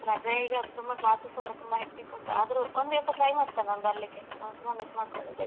ರಜೆ ಈಗ ತುಂಬ classes ಎಲ್ಲ ತುಂಬಾ hectic ಉಂಟು ಆದ್ರೂ ಒಂದು ದಿವ್ಸ try ಮಾಡ್ತೆ ನಾನ್ ಬರ್ಲಿಕ್ಕೆ ನಾನ್ ತುಂಬಾ miss ಮಾಡ್ಕೊಂಡಿದ್ದೆ .